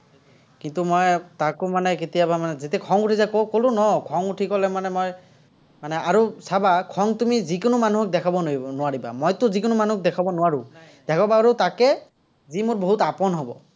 কিন্তু, মই তাকো মানে কেতিয়াবা যেতিয়া মানে খং উঠি যায়, ক'লো ন। খং উঠি গ'লে মানে মই, মানে আৰু চাবা, খং তুমি যিকোনো মানুহক দেখাব নোৱাৰিবা, মইটো যিকোনো মানুহক দেখাব নোৱাৰো। দেখাব পাৰো তাকে, যি মোৰ বহুত আপোন হ'ব।